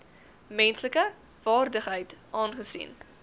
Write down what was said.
menslike waardigheid aangesien